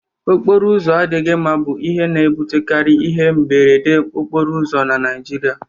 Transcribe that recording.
Okporo ụzọ adịghị mma bụ ihe na-ebutekari ihe mberede okporo ụzọ na Naịjirịa